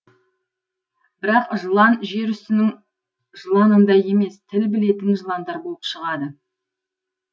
бірақ жылан жер үстінің жыланындай емес тіл білетін жыландар болып шығады